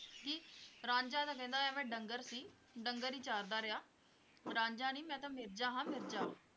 ਰਾਂਝਾ ਤਾਂ ਕਹਿੰਦਾ ਐਵੇਂ ਡੰਗਰ ਸੀ, ਡੰਗਰ ਹੀ ਚਾਰਦਾ ਰਿਹਾ ਉਹ ਰਾਂਝਾ ਨੀ ਮੈਂ ਤਾਂ ਮਿਰਜ਼ਾ ਹਾਂ ਮਿਰਜ਼ਾ